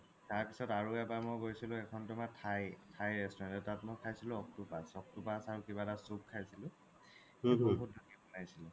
তাৰ পিছত আৰু এবাৰ মই গৈছিলো সেইখন তো মানে thai, thai restaurant এটা তো মই খাইছিলো octopus, octopus আৰু কিবা এটা soup খাইছিলো